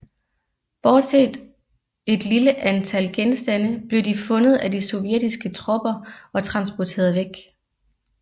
Bortset et lille antal genstande blev de fundet af de sovjetiske tropper og transporteret væk